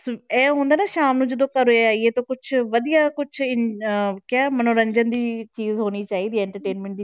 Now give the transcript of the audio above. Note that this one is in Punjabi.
ਇਹ ਹੁੰਦਾ ਨਾ ਸ਼ਾਮ ਨੂੰ ਜਦੋਂ ਘਰੇ ਆਈਏ ਤਾਂ ਕੁਛ ਵਧੀਆ ਕੁਛ ਇਨ~ ਅਹ ਕਿ ਮੰਨੋਰੰਜਨ ਦੀ ਚੀਜ਼ ਹੋਣੀ ਚਾਹੀਦੀ ਹੈ entertainment